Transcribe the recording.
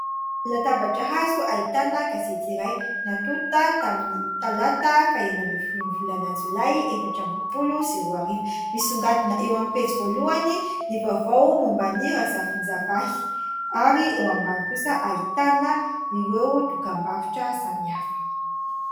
Latabatra hazo ahitana gazety iray natonta tamin'ny talata faha enina ambin'ny folon'ny volana jolay efatra amby roapolo sy roa arivo. Misongadina eo amin'ny pejy voalohany ny vaovao momban'i Razafindravahy ary eo ambany kosa ahitana ireo dokam-barotra samihafa.